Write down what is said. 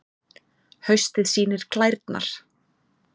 Haustið sýnir klærnar